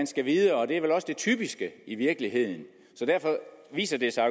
skal videre og det er vel også det typiske i virkeligheden så derfor viser det sig